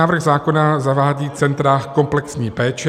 Návrh zákona zavádí centra komplexní péče.